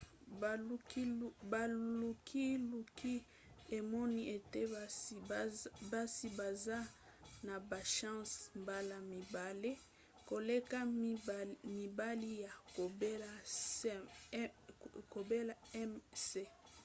bolukiluki emoni ete basi baza na bachance mbala mibale koleka mibali ya kobela ms